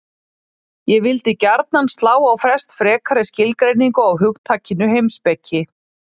Ég vildi gjarnan slá á frest frekari skilgreiningu á hugtakinu heimspeki.